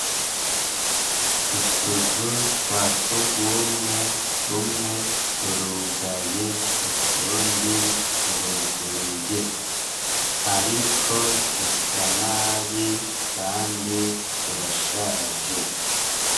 Utuzu twasugumwe, tumwe turugaye, utundi turuguruye. Ariko dusa nabi kandi turashaje.